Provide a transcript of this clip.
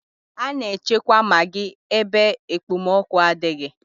A na-echekwa magị ebe ekpomọkụ adịghị.